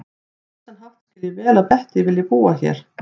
Á vissan hátt skil ég vel að Bettý vilji búa hér.